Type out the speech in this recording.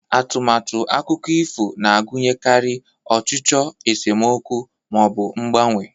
Atụmatụ akụkọ ifo na-agụnyekarị ọchịchọ, esemokwu, ma ọ bụ mgbanwe.